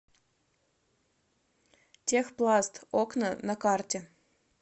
техпласт окна на карте